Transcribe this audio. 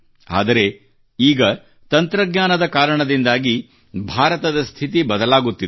ಆದರೆ ಈಗ ತಂತ್ರಜ್ಞಾನದ ಕಾರಣದಿಂದಾಗಿ ಭಾರತದ ಸ್ಥಿತಿ ಬದಲಾಗುತ್ತಿದೆ